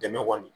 Dɛmɛ kɔni